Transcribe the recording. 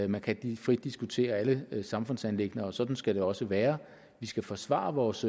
man kan frit diskutere alle samfundsanliggender og sådan skal det også være vi skal forsvare vores